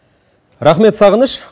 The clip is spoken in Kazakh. рахмет сағыныш